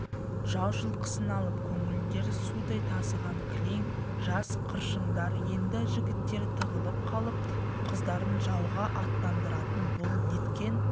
жау жылқысын алып көңілдері судай тасыған кілең жас қыршындар енді жігіттері тығылып қалып қыздарын жауға аттандыратын бұл неткен